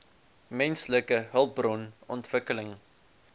menslike hulpbron ontwikkeling